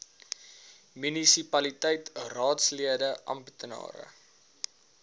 munisipaliteit raadslede amptenare